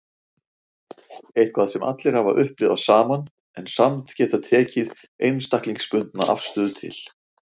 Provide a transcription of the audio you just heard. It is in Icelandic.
Eitthvað sem allir hafa upplifað saman en samt getað tekið einstaklingsbundna afstöðu til.